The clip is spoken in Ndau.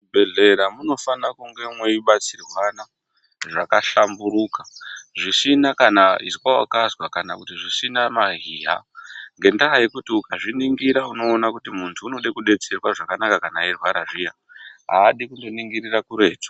Muzvibhehlera munofana kunge meibatsirwana zvakahlamburuka zvisina kana izwa wakakazwa kana kuti zvisina mahiya. Ngendaa yekuti ukazviningira unoona kuti muntu unode kudetserwa zvakanaka kana eirwara zviya, haadii kundoningirira kuretu.